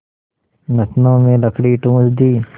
नथनों में लकड़ी ठूँस दी